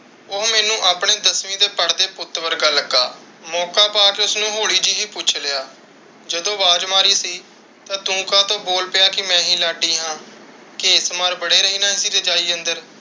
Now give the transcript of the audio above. ਉਹ ਮੈਨੂੰ ਆਪਣੇ ਦਸਵੀਂ ਦੇ ਪੜ੍ਹਦੇ ਪੁੱਤ ਵਰਗਾ ਲੱਗਾ। ਮੌਕਾ ਪਾਕੇ ਉਸਨੂੰ ਹੋਲੀ ਜਹੀ ਪੁੱਛ ਲਿਆ, ਜਦੋ ਆਵਾਜ਼ ਮਾਰੀ ਸੀ ਤਾ ਤੂੰ ਕਾਤੋ ਬੋਲ ਪਿਆ ਕਿ ਮੈ ਹੀ ਲਾਡੀ ਹਾਂ, ਘੇਸ ਮਾਰ ਬੜੇ ਰਹਿਣਾ ਸੀ ਅੰਦਰ।